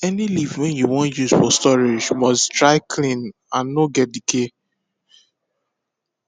any leaf wey you wan use for storage must dry clean and no get decay